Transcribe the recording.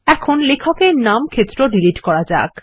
এখন লেখক এর নাম ক্ষেত্র ডিলিট করা যাক